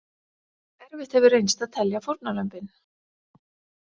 Erfitt hefur reynst að telja fórnarlömbin.